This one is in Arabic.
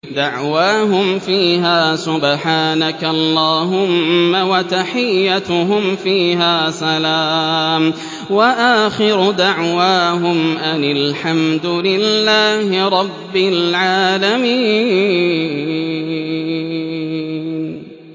دَعْوَاهُمْ فِيهَا سُبْحَانَكَ اللَّهُمَّ وَتَحِيَّتُهُمْ فِيهَا سَلَامٌ ۚ وَآخِرُ دَعْوَاهُمْ أَنِ الْحَمْدُ لِلَّهِ رَبِّ الْعَالَمِينَ